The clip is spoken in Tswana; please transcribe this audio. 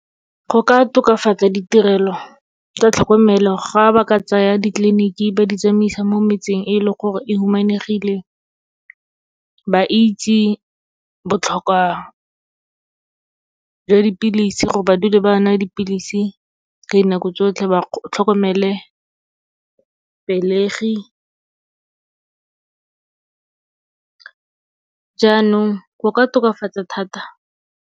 Go ka tokafatsa ditirelo tsa tlhokomelo, ga ba ka tsaya ditleliniki ba di tsamaisa mo metseng e leng gore e humanegile. Ba itse botlhokwa jwa dipilisi, gore ba dule ba nwa dipilisi ka dinako tsotlhe, ba tlhokomele pelegi. Jaanong, go ka tokafatsa thata.